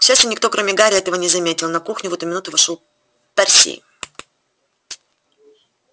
к счастью никто кроме гарри этого не заметил на кухню в эту минуту вошёл перси